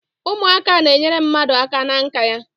Ụmụaka n'enyere mmadụ aka na nka ya